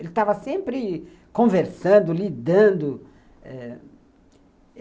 Ele estava sempre conversando, lidando.